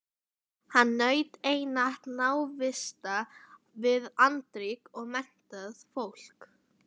Hann naut einatt návista við andríkt og menntað fólk.